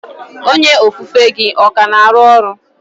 Onye ofufe gị ọ ka na-arụ ọrụ?